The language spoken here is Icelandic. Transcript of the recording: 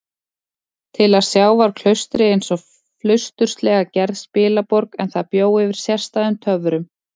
Til að sjá var klaustrið einsog flausturslega gerð spilaborg, en það bjó yfir sérstæðum töfrum.